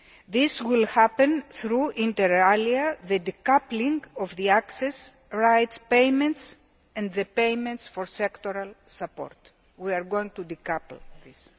This will happen through, inter alia, the decoupling of the access rights payments and the payments for sectoral support. We are going to decouple